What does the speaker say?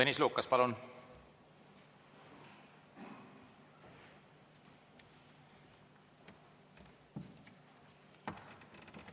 Tõnis Lukas, palun!